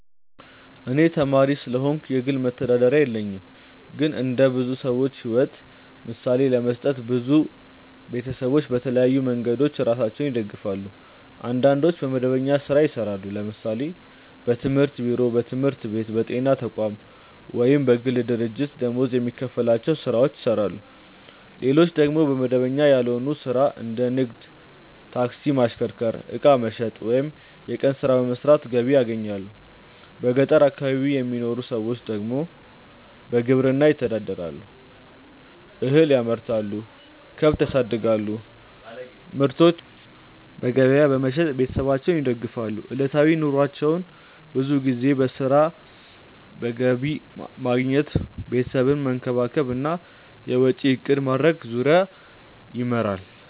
እኔ ተማሪ ስለሆንኩ የግል መተዳደሪያ የለኝም። ግን እንደ ብዙ ሰዎች ሕይወት ምሳሌ ለመስጠት፣ ብዙ ቤተሰቦች በተለያዩ መንገዶች ራሳቸውን ይደግፋሉ። አንዳንዶች በመደበኛ ሥራ ይሰራሉ፤ ለምሳሌ በመንግስት ቢሮ፣ በትምህርት ቤት፣ በጤና ተቋም ወይም በግል ድርጅት ደመወዝ የሚከፈላቸው ሥራዎችን ይሰራሉ። ሌሎች ደግሞ በመደበኛ ያልሆነ ሥራ እንደ ንግድ፣ ታክሲ ማሽከርከር፣ ዕቃ መሸጥ ወይም የቀን ሥራ በመስራት ገቢ ያገኛሉ። በገጠር አካባቢ የሚኖሩ ብዙ ሰዎች ደግሞ በግብርና ይተዳደራሉ፤ እህል ያመርታሉ፣ ከብት ያሳድጋሉ እና ምርታቸውን በገበያ በመሸጥ ቤተሰባቸውን ይደግፋሉ። ዕለታዊ ኑሯቸው ብዙ ጊዜ በሥራ፣ በገቢ ማግኘት፣ ቤተሰብን መንከባከብ እና የወጪ እቅድ ማድረግ ዙሪያ ይመራል።